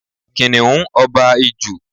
Kìnnìún ọba Ijù.